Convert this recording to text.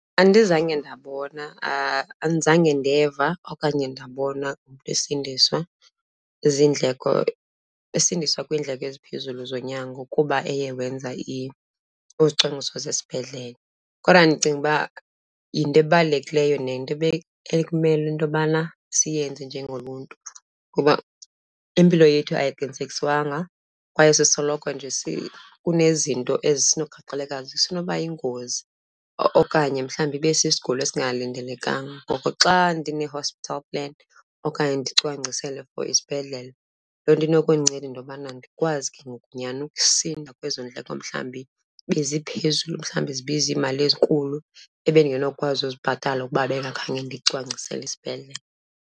Andizange ndabona, andizange ndeva okanye ndabona umntu esindiswa ziindleko, esindiswa kwiindleko eziphezulu zonyango kuba eye wenza izicwangciso zesibhedlele. Kodwa ndicinga uba yinto ebalulekileyo nento ekumele into yobana siyenze njengoluntu, kuba impilo yethu ayiqinisekiswanga. Kwaye sisoloko nje kunezinto esinogaxeleka , isenoba yingozi okanye mhlawumbi ibe sisigulo esingalindelekanga. Ngoko xa ndine-hospital plan okanye ndicwangcisele for isibhedlele, loo nto inokundinceda into yokubana ndikwazi ke ngoku nyani ukusinda kwezo ndleko mhlawumbi beziphezulu. Mhlawumbi zibiza iimali ezinkulu ebendingenokwazi uzibhatala ukuba bengakhange ndicwangcisele isibhedlele.